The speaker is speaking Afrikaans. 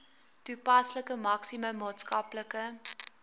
toepaslike maksimum maatskaplike